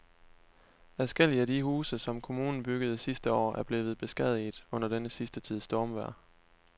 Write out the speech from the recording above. Adskillige af de huse, som kommunen byggede sidste år, er blevet beskadiget under den sidste tids stormvejr.